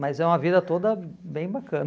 Mas é uma vida toda bem bacana.